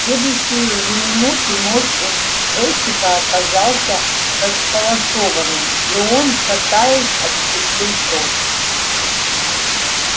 в следующую же минуту нос у бэсика оказался располосованным и он шатаясь отступил прочь